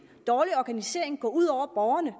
dårlig organisering gå ud over borgerne